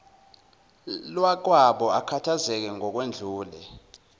lwakwabo akhathazeke ngokwedlulele